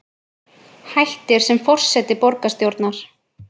Hættir sem forseti borgarstjórnar